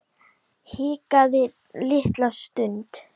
Hikaði litla stund.